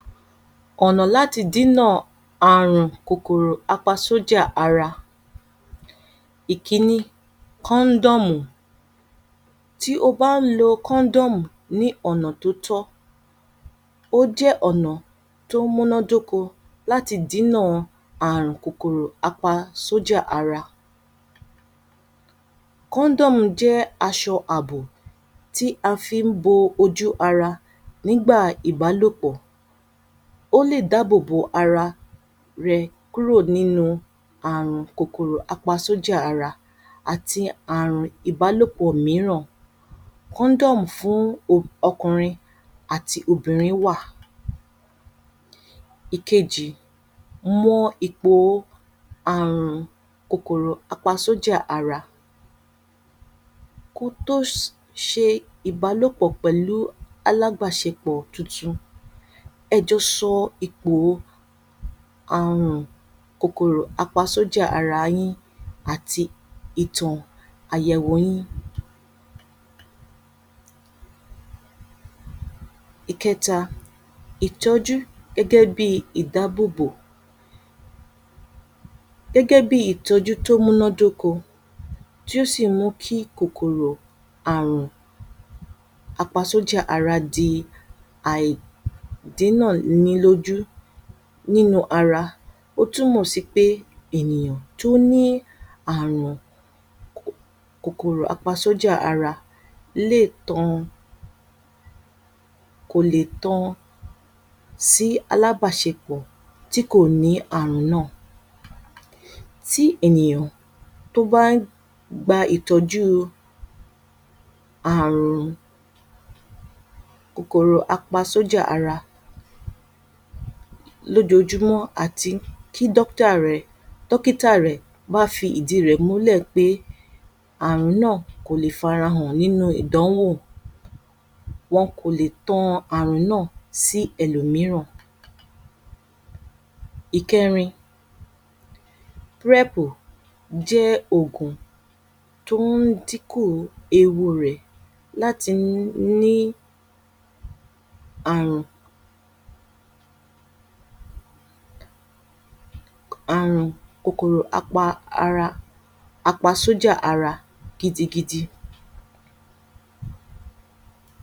Ọ̀nà láti dínà àrùn kòkòrò apasójà ara. Ìkíni, kóóndòmù. Tí o bá lo kóóndòmù ní ọ̀nà tó tí tó tọ́ ó jẹ́ ọ̀nà tó múná dóko láti dínà àrùn kòkòrò apasójà ara. Kóndómù jẹ́ aṣọ àbò tí a fi ń bo ojú ara nígbà ìbálòpọ̀. Ó lè dá bòbò ara rẹ kúrò nínú àrùn kòkòrò apasójà ara àtì àrùn ìbálòpọ̀ míràn. Kóndómù fún Ọkùnrin àti Obìnrin wà. Ìkéjì, mọ́ epo ó àrùn kòkòrò apasójà ara. Ko tó ṣe ìbálòpọ̀ pẹ̀lú alábáṣepọ̀ tuntun, ẹ jọ sọ ípò-o kòkòrò apasójà ara yín àti ìtàn àyẹ̀wò yín. Ìkẹta, ìtọjú gẹ́gẹ́ bí ìdá bòbò. Gẹ́gẹ́ bí ìtọjú tó múná dóko tí ó sì mú kí kòkòrò àrùn apasójà ara dí aìdínà-ní-lójú. Nínu ara ó túmọ sí pé ènìyàn tó ní àrùn Kòkòrò apasójà ara lé tán-an kò lè tan sí alábáṣepọ̀ tí kò ní àrùn náà. Tí èniyàn ba ń gba ìtọjú àrùn kòkòrò apasójà ara lójoojúmó àti kí dókítà rẹ̀. Dókítà rẹ̀ ma fi ìdí rẹ̀ múlẹ̀ pé àrùn náà kò le farahàn nínu ìdánwò. Wọ́n kò lè tan àrùn náà sí ẹlòmíràn. Ìkẹrin, Prẹpù jẹ́ ògùn to ń dín ku ewu rẹ̀ láti Ni àrùn Àrùn kòkòrò apa ara, apasójà ara gidigidi.